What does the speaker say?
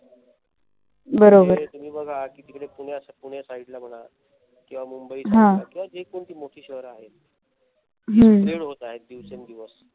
म्हणजे तुम्ही बघा कि तिकडे पुण्या side ला बघा किंवा मुंबई side ला बघा किंवा जे कोणती मोठी शहरे आहेत. ते sprade होत आहेत दिवसेंदिवस